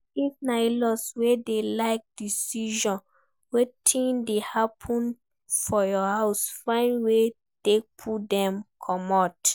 If na inlaw wey de like decide wetin dey happen for your house find wey take pull dem comot